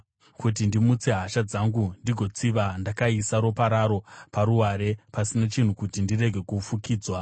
Kuti ndimutse hasha dzangu ndigotsiva ndakaisa ropa raro paruware pasina chinhu kuti rirege kufukidzwa.